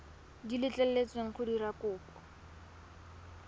di letleletsweng go dira kopo